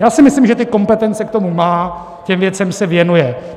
Já si myslím, že ty kompetence k tomu má, těm věcem se věnuje.